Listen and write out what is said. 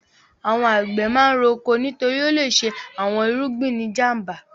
Àwọn àgbẹ̀ máa ń roko nítorí ó le ṣe àwọn irúgbìn ní ìjàm̀ba.